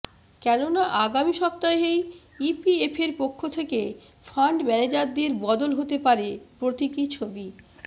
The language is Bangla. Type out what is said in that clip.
কেননা আগামী সপ্তাহেই ইপিএফের পক্ষে থেকে ফান্ড ম্যানেজারবদল হতে পারে প্রতীকী ছবি